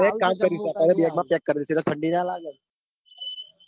bag માં pack કરું ઠંડી ના લેગ ન.